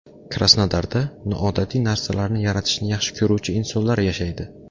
Krasnodarda noodatiy narsalarni yaratishni yaxshi ko‘ruvchi insonlar yashaydi.